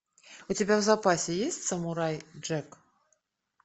у тебя в запасе есть самурай джек